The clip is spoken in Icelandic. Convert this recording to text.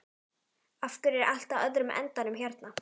Af hverju er allt á öðrum endanum hérna?